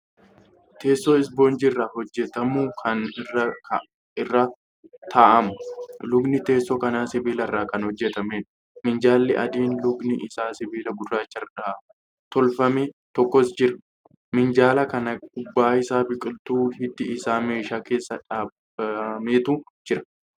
Teessoo spoonjii irraa hojjatamu Kan irraa taa'amu. lukni teessoo kanaa sibiilarraa Kan hojjatameedha. minjaalli adiin lukni Isaa sibiila gurraacharraa tolkame tokkos jira. minjaala kana gubbaa Isaa biqiltuu hiddi Isaa meeshaa keessa dhaabametu Jira.